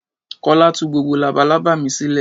Kọ́lá tú gbogbo labalábá mi sílẹ̀.